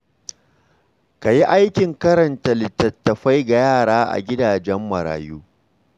Ka yi aikin karanta littattafai ga yara a gidajen marayu.